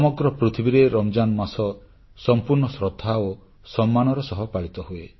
ସମଗ୍ର ପୃଥିବୀରେ ରମଜାନ୍ ମାସ ସମ୍ପୂର୍ଣ୍ଣ ଶ୍ରଦ୍ଧା ଓ ସମ୍ମାନ ସହ ପାଳିତ ହୁଏ